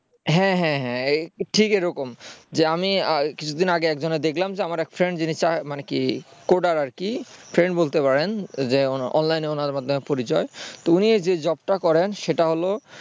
হ্যাঁ হ্যাঁ হ্যাঁ ঠিক এরকম যে আমি কিছুদিন আগে একজনকে দেখলাম যে আমার এক friend যিনি coder আর কি friend বলতে পারেন যে অনলাইনে ওনার মাধ্যমে পরিচয় তো উনি যে job টা করেন সেটা হল